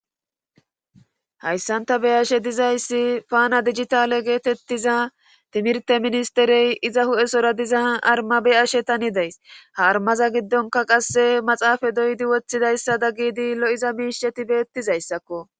hayssanta be ashe dizayssi paana digitale geetettiza timirte ministerey iza hu7esora diza armabe ashe tani days ha armaza giddonka qasse maxaafa doydi woththidayssa da gidi lo7iza miisheti beettizayssakko